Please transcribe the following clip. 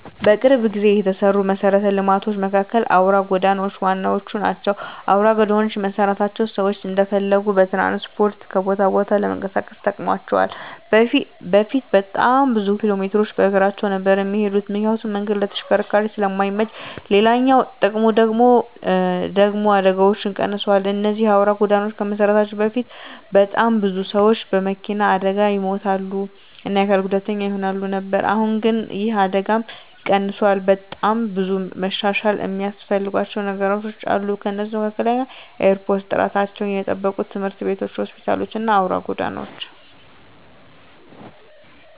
በቅርብ ጊዜ የተሰሩ መሰረተ ልማቶች መካከል አውራ ጎዳናዎች ዋነኞቹ ናቸው። አውራ ጎዳናዎች መሰራታቸው ሰዎች እንደፈለጉ በትራንስፖርት ከቦታ ቦታ ለመንቀሳቀስ ጠቅሟቸዋል በፊት በጣም ብዙ ኪሎሜትሮችን በእግራቸው ነበር እሚሄዱት ምክንያቱም መንገዱ ለተሽከርካሪዎች ስለማይመች፤ ሌላኛው ጥቅሙ ደግሙ ደግሞ አደጋዎች ቀንሰዋል እነዚህ አውራ ጎዳናዎች ከመሰራታቸው በፊት በጣም ብዙ ሰዎች በመኪና አደጋ ይሞቱ እና አካል ጉዳተኛ ይሆኑ ነበር አሁን ግን ይህ አደጋም ቀንሷል። በጣም ብዙ መሻሻል እሚያስፈልጋቸው ነገሮች አሉ ከነሱም መካከል ኤርፖርቶች፣ ጥራታቸውን የጠበቁ ትምህርት ቤቶች፣ ሆስፒታሎች እና አውራ ጎዳናዎች።